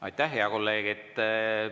Aitäh, hea kolleeg!